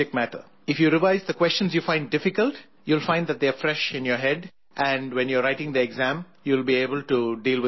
If you revise the questions you find difficult, you will find that they are fresh in your head and when you are writing the exam, you will be able to deal with them much better